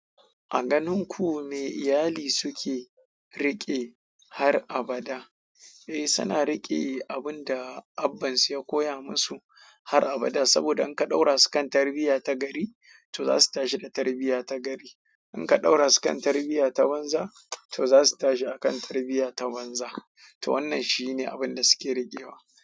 A ganin ku me iyali suke riƙe har abada? Eh, suna riƙe abin da abansu ya koya musu har abada. Saboda in ka ɗaura su kan tarbiyya ta gari, to za su tashi da tarbiyya ta gari. In ka ɗaura su kan tarbiyya ta banzan, to za su tashi a kan tarbiyya ta wanzan. To wannan shi ne abin da suke riƙewa.